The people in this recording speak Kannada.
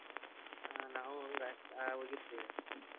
ನಾವು ಹೋಗಿರ್ತೇವ್ರಿ.